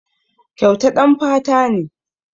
Kyauta ɗan fata ne.